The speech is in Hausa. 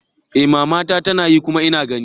Eh mama na tanayi kuma ina gani.